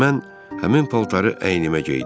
Mən həmin paltarı əynimə geydim.